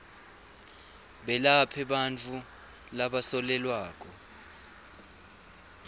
belaphe bantfu labasolelwako